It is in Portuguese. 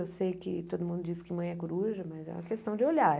Eu sei que todo mundo diz que mãe é coruja, mas é uma questão de olhar.